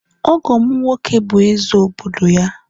Ọgọ'm nwoke bụ eze obodo ya